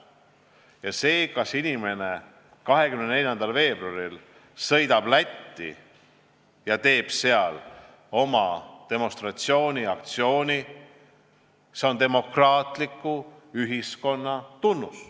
Ja see, kui inimene sõidab 24. veebruaril Lätti ja teeb seal oma demonstratsiooniaktsiooni, on demokraatliku ühiskonna tunnus.